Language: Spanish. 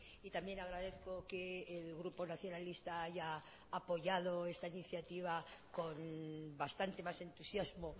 y también agradezco que el grupo nacionalista haya apoyado esta iniciativa con bastante más entusiasmo